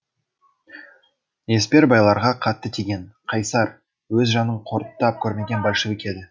еспер байларға қатты тиген қайсар өз жанын қорыттап көрмеген большевик еді